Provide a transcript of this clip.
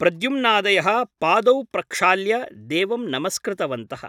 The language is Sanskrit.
प्रद्युम्नादयः पादौ प्रक्षाल्य देवं नमस्कृतवन्तः ।